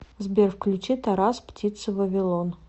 сбер включи тарас птица вавилон